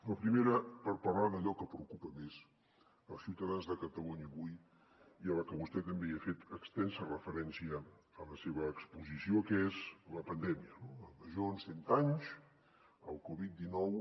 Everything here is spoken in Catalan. la primera per parlar d’allò que preocupa més els ciutadans de catalunya avui i a la que vostè també ha fet extensa referència en la seva exposició que és la pandèmia no la major en cent anys el covid dinou